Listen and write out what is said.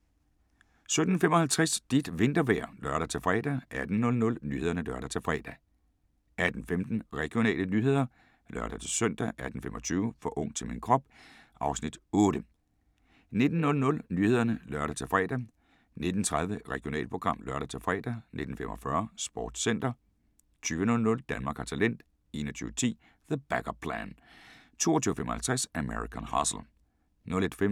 17:55: Dit vintervejr (lør-fre) 18:00: Nyhederne (lør-fre) 18:15: Regionale nyheder (lør-søn) 18:25: For ung til min krop (Afs. 8) 19:00: Nyhederne (lør-fre) 19:30: Regionalprogram (lør-fre) 19:45: SportsCenter 20:00: Danmark har talent 21:10: The Back-up Plan 22:55: American Hustle